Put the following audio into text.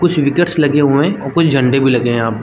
कुछ विकर्स लगे हुए है और कुछ झंडे भी लगे है यहाँ पे--